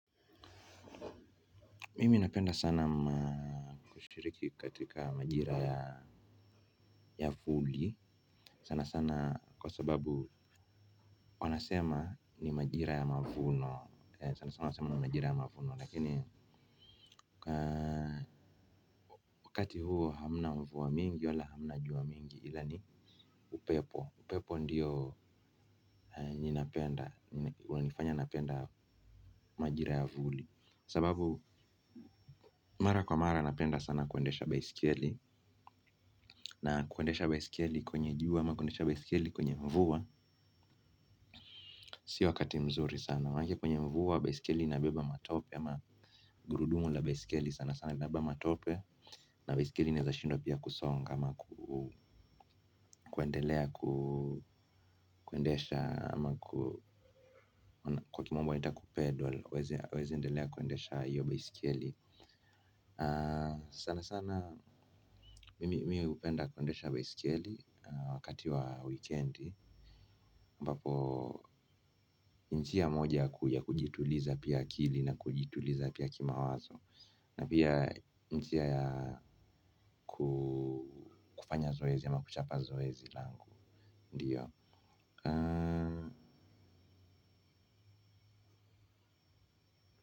Mimi napenda sana kushiriki katika majira ya vuli. Sana sana kwa sababu wanasema ni majira ya mavuno sanasana wanasema ni majira ya mavuno lakini wakati huo hamna mvua mingi wala hamna jua mingi. Ila ni upepo, upepo ndiyo nina penda, hunifanya napenda majira ya vuli. Sababu mara kwa mara napenda sana kuendesha baisikeli. Na kuendesha baisikeli kwenye jua ama kuendesha baisikeli kwenye mvua. Si wakati mzuri sana manake kwenye mvua baisikeli inabeba matope ama gurudumu la baisikeli sana sana inabeba matope na baisikeli inaeza shindwa pia kusonga ama kuendelea kuendesha. Ama ku kwa kimombo inaitwa kupedal. Huwezi endelea kuendesha hiyo baisikeli. Sana sana mimi hupenda kuendesha baisikeli na wakati wa weekend ambapo ni njia moja ya kujituliza pia akili na kujituliza pia kimawazo. Na pia njia ya kufanya zoezi ama kuchapa zoezi langu Ndiyo.